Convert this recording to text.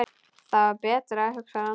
Þetta var betra, hugsar hann.